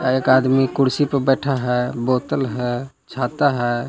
एक आदमी कुर्सी पर बैठा है बोतल है छाता है।